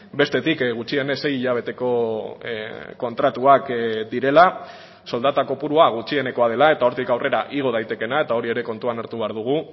bestetik gutxienez sei hilabeteko kontratuak direla soldata kopurua gutxienekoa dela eta hortik aurrera igo daitekeena eta hori ere kontuan hartu behar dugu